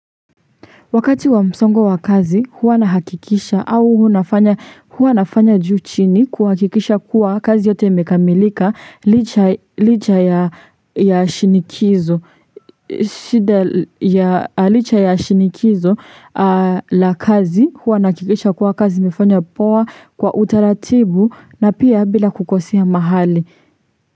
Wakati wa msongo wa kazi huwa na hakikisha au huwa nafanya juu chini kuhakikisha kuwa kazi yote imekamilika licha ya shinikizo la kazi huwa na hakikisha kuwa kazi imefanya poa kwa utaratibu na pia bila kukosea mahali.